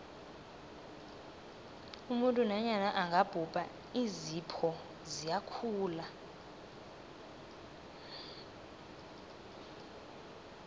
umuntu nanyana angabhubha iinzipho ziyakhula